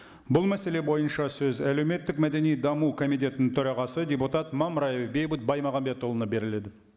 бұл мәселе бойынша сөз әлеуметтік мәдени даму комитетінің төрағасы депутат мамраев бейбіт баймағамбетұлына беріледі